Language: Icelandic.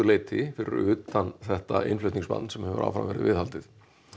leyti fyrir utan þetta innflutningsbann sem hefur áfram verið viðhaldið